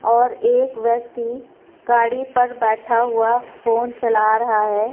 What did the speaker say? और एक व्यक्ति गाड़ी पर बैठा हुआ फोन चला रहा है।